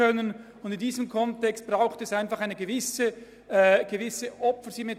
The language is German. In diesem Kontext braucht es einfach eine gewisse Opfersymmetrie.